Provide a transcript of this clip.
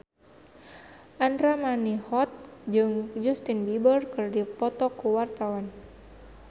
Andra Manihot jeung Justin Beiber keur dipoto ku wartawan